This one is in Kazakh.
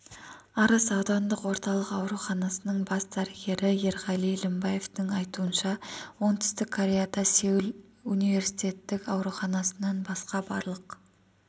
арыс аудандық орталық ауруханасының бас дәрігері ерғали лімбаевтың айтуынша оңтүстік кореяда сеул университеттік ауруханасынан басқа барлық